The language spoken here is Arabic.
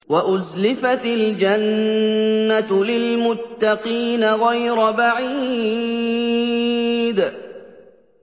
وَأُزْلِفَتِ الْجَنَّةُ لِلْمُتَّقِينَ غَيْرَ بَعِيدٍ